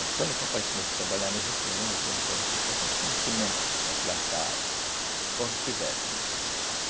Mas quando o papai começou a trabalhar no em mil novecentos e quarenta e quatro, já tinha semente para plantar conforme quisesse, né?